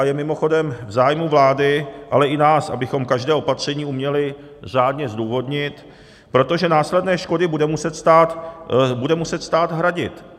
A je mimochodem v zájmu vlády, ale i nás, abychom každé opatření uměli řádně zdůvodnit, protože následné škody bude muset stát hradit.